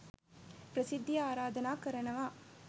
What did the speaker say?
ප්‍රසිද්ධියේ ආරාධනා කරනවා